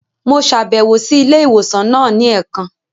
Mo ṣabẹwo si ilé ìwòsàn náà ni ẹẹkan.